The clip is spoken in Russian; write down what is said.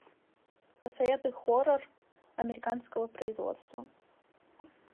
посоветуй хоррор американского производства